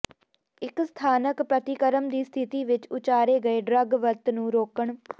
ਇੱਕ ਸਥਾਨਕ ਪ੍ਰਤੀਕਰਮ ਦੀ ਸਥਿਤੀ ਵਿੱਚ ਉਚਾਰੇ ਗਏ ਡਰੱਗ ਵਰਤ ਨੂੰ ਰੋਕਣ